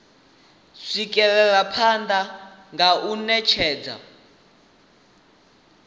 swikelela phanele nga u netshedza